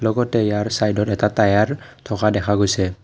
ইয়াৰ চাইডত এটা টায়াৰ থকা দেখা গৈছে।